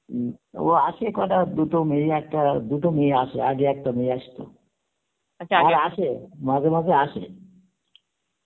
উম ও আসে কটা দুটো মেয়ে একটা দুটো মেয়ে আসে আগে একটা মেয়ে আস্ত আসে মাঝে মাঝে আসে